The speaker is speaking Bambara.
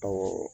Awɔ